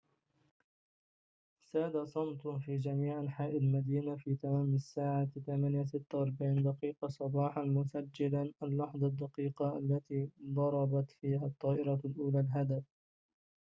ساد صمت في جميع أنحاء المدينة في تمام الساعة 8:46 صباحاً مسجلاً اللحظة الدقيقة التي ضربت فيها الطائرة الأولى هدفها